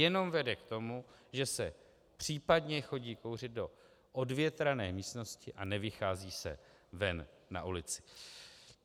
Jenom vede k tomu, že se případně chodí kouřit do odvětrané místnosti a nevychází se ven na ulici.